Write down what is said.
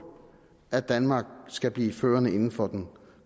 at danmark skal blive førende inden for den